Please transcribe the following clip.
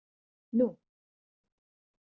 Nú